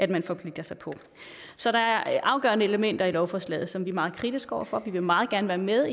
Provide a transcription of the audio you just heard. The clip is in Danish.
man forpligter sig på så der er afgørende elementer i lovforslaget som vi er meget kritiske over for vi vil meget gerne være med